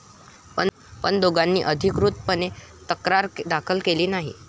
पण दोघांनी अधिकृतपणे तक्रार दाखल केली नाही.